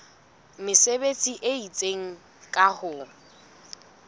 mesebetsi e itseng ka ho